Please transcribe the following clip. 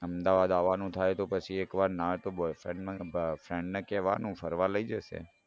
અમદાવાદ આવાનું થાય તો પછી એકવાર ના હોય તો boyfriend ને friend ને કેવાનું ફરવા લઇ જશે